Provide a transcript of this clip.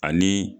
Ani